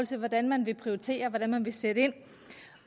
til hvordan man vil prioritere og hvordan man vil sætte ind